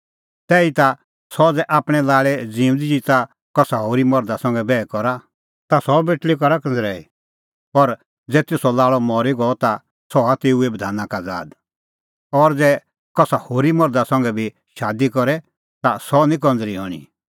तैहीता सह ज़ै आपणैं लाल़े ज़िऊंदी ज़िता कसा होरी मर्धा संघै बैह करा ता सह बेटल़ी करा कंज़रैई पर ज़ै तेसो लाल़अ मरी गअ ता सह हआ तेऊ बधाना का आज़ाद और ज़ै सह कसा होरी मर्धा संघै भी शादी करे ता सह निं कंज़री हणीं